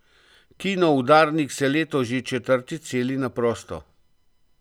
Kino Udarnik se letos že četrtič seli na prosto.